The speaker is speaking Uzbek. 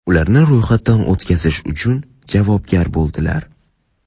ularni ro‘yxatdan o‘tkazish uchun javobgar bo‘ladilar.